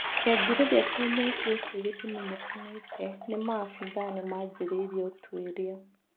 Kĩanjĩrĩria kĩa mwaki ũcio gĩtimenyekanĩte ni maabithaa nimajĩrĩirie ũtwĩrĩa.